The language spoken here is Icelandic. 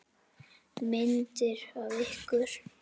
Myndir af ykkur.